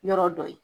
Yɔrɔ dɔ ye